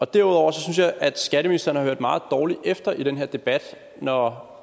derudover synes jeg at skatteministeren har hørt meget dårligt efter den her debat når